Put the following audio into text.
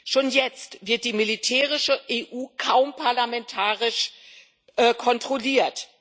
Schon jetzt wird die militärische EU kaum parlamentarisch kontrolliert.